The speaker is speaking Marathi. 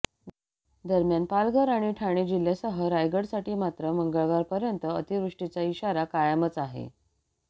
दरम्यान पालघर आणि ठाणे जिल्ह्यासह रायगडसाठी मात्र मंगळवारपर्यंत अतिवृष्टीचा इशारा कायमच आहे